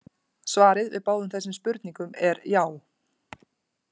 Svarið við báðum þessum spurningum er já!